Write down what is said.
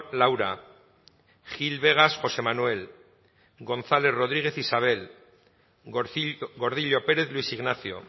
laura gil vegas josé manuel gonzález rodríguez isabel gordillo pérez luis ignacio